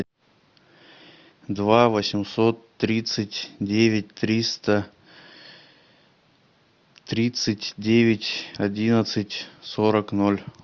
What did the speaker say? два восемьсот тридцать девять триста тридцать девять одиннадцать сорок ноль